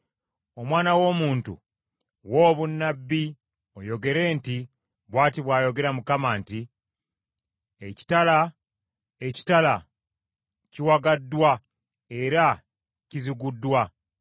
“Omwana w’omuntu, wa obunnabbi oyogere nti, ‘Bw’ati bw’ayogera Mukama nti, “ ‘Ekitala, ekitala, kiwagaddwa era kiziguddwa,